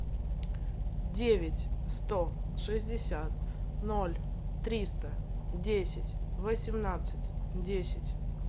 девять сто шестьдесят ноль триста десять восемнадцать десять